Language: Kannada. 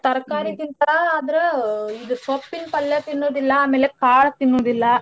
ತರ್ಕಾರೀ ಗಿಂತಾ ಆದ್ರ ಇದ್ ಸೊಪ್ಪಿೀನ್ ಪಲ್ಯ ತಿನ್ನುದಿಲ್ಲಾ ಆಮೇಲೇ ಕಾಳ್ ತಿನ್ನುದಿಲ್ಲಾ.